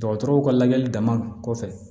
Dɔgɔtɔrɔw ka lajɛli dama kɔfɛ